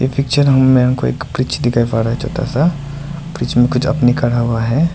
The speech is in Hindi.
पिक्चर हमें एक ब्रिज दिखाई पड़ रहा है छोटा सा ब्रिज मे कुछ आदमी खड़ा हुआ है।